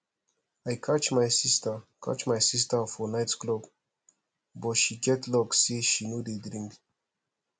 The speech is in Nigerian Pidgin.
i catch my sister catch my sister for night club but she get luck say she no dey drink